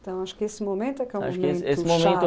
Então, acho que esse momento é que é o momento